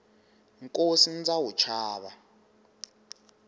nkosi ndza wu chava